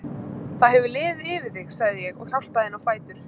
Það hefur liðið yfir þig, sagði ég og hjálpaði henni á fætur.